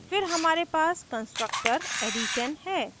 फिर हमारे पास construtor addition है